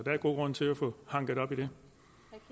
netop i